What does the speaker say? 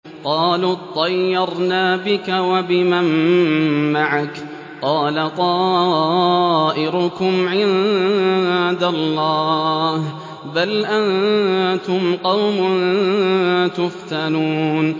قَالُوا اطَّيَّرْنَا بِكَ وَبِمَن مَّعَكَ ۚ قَالَ طَائِرُكُمْ عِندَ اللَّهِ ۖ بَلْ أَنتُمْ قَوْمٌ تُفْتَنُونَ